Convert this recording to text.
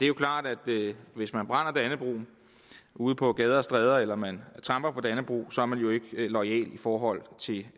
jo klart at hvis man brænder dannebrog ude på gader og stræder eller hvis man tramper på dannebrog så er man jo ikke loyal i forhold til det